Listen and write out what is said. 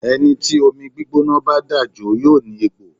Ẹni tí omi gbígbóná bá dà jó yóò ní egbò.